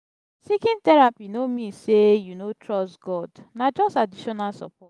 seeking therapy no mean say you no trust god na just additional support.